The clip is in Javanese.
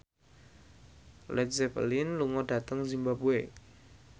Led Zeppelin lunga dhateng zimbabwe